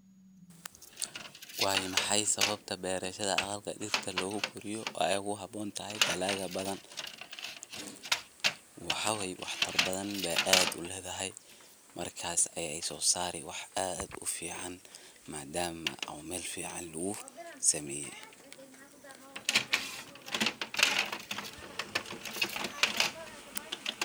Waa maxay sababta beerashada aqalka dirta lugu koriyo aay ugu haboon tahay dalaga badan, waxaa waye wax tar badan beey aad uledahay, markaas ayeey soo saari wax aad ufican, madaama oo meel fican lugu sameeye.